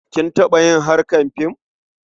Kin taɓa yin harkar fim?